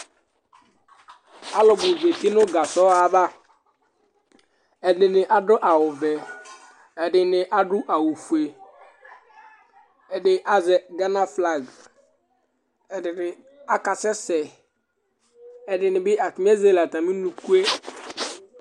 Alʋbu zɛti ŋu kazɔ ava Ɛɖìní aɖu awu vɛ Ɛɖìní aɖu awu fʋe Ɛɖì azɛ Ghana flag Ɛɖìní aka sɛsɛ Ɛɖìní bi, ataŋi ezele atami ʋnʋkue